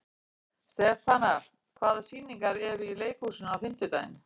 Stefana, hvaða sýningar eru í leikhúsinu á fimmtudaginn?